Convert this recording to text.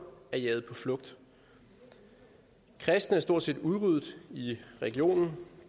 er jaget på flugt kristne er stort set udryddet i regionen